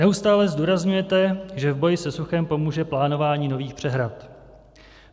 Neustále zdůrazňujete, že v boji se suchem pomůže plánování nových přehrad.